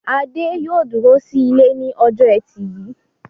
Adé yóò dúró sí ilé ní ọjọ́ ẹtì yìí.